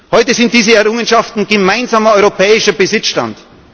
Heute sind diese Errungenschaften gemeinsamer europäischer Besitzstand.